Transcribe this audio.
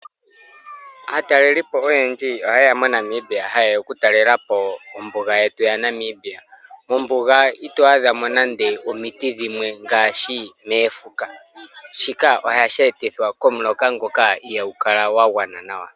Aatalelipo oyendji oha yeya mo Namibia haye ya oku talelapo ombuga yetu ya Namibia. Mombuga ito adhamo nande omuti gumwe ngaashi moofuka. Shika ohashi etithwa komuloka ngoka ihagu kala gwa gwana nawa.